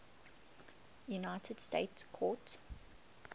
united states court